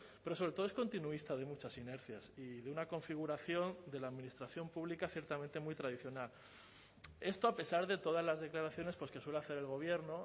pero sobre todo es continuista de muchas inercias y de una configuración de la administración pública ciertamente muy tradicional esto a pesar de todas las declaraciones pues que suele hacer el gobierno